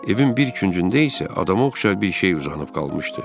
Evin bir küncündə isə adama oxşar bir şey uzanıb qalmışdı.